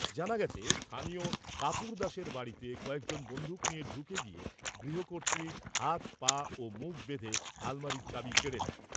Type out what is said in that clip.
জানা গেছে, স্থানীয় কাপুর দাসের বাড়িতে কয়েকজন বন্দুক নিয়ে ঢুকে গিয়ে গৃহকর্ত্রীর হাত পা ও মুখ বেঁধে আলমারির চাবি কেড়ে নেয়।